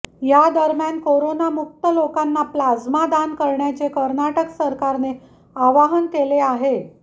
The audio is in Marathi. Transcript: या दरम्यान कोरोनामुक्त लोकांना प्लाझ्मा दान करण्याचे कर्नाटक सरकारने आवाहन केले आहे